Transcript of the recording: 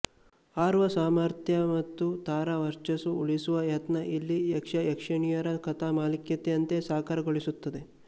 ಹಾರುವ ಸಾಮರ್ಥ್ಯ ಮತ್ತು ತಾರಾ ವರ್ಚಸ್ಸು ಉಳಿಸುವ ಯತ್ನ ಇಲ್ಲಿ ಯಕ್ಷಯಕ್ಷಣಿಯರ ಕಥಾಮಾಲಿಕೆಯಂತೆ ಸಾಕಾರಗೊಳಿಸುತ್ತದೆ